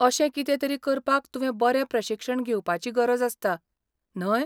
अशें कितेंतरी करपाक तुवें बरें प्रशिक्षण घेवपाची गरज आसता, न्हय?